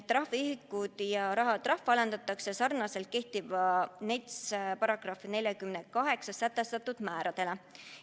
Trahviühikud ja rahatrahv alandatakse sarnaselt kehtiva NETS-i §-s 48 sätestatud määradele.